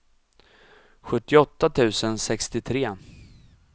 sjuttioåtta tusen sextiotre